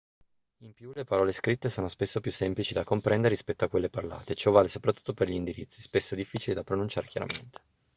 in più le parole scritte sono spesso più semplici da comprendere rispetto a quelle parlate ciò vale soprattutto per gli indirizzi spesso difficili da pronunciare chiaramente